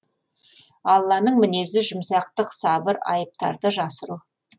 алланың мінезі жұмсақтық сабыр айыптарды жасыру